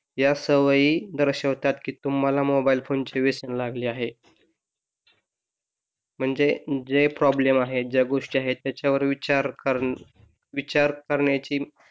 या सवयी दर्शवतात की तुम्हाला मोबाईल फोनचे व्यसन लागले आहे म्हणजे जे प्रॉब्लेम आहे ज्या गोष्टी आहे त्याच्यावर विचार विचार करण्याची